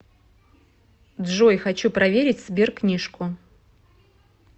джой хочу проверить сберкнижку